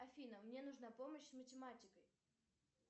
афина мне нужна помощь с математикой